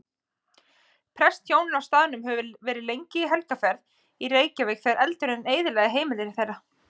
Prestshjónin á staðnum höfðu verið í helgarferð í Reykjavík þegar eldurinn eyðilagði heimili þeirra.